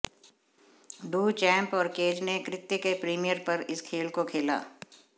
Duchamp और Cage ने कृत्य के प्रीमियर पर इस खेल को खेला